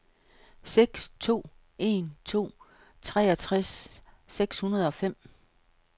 seks to en to treogtres seks hundrede og fem